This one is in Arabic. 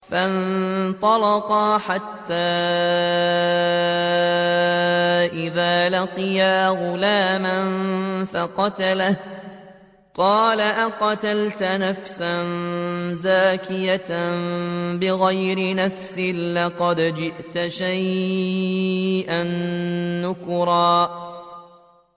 فَانطَلَقَا حَتَّىٰ إِذَا لَقِيَا غُلَامًا فَقَتَلَهُ قَالَ أَقَتَلْتَ نَفْسًا زَكِيَّةً بِغَيْرِ نَفْسٍ لَّقَدْ جِئْتَ شَيْئًا نُّكْرًا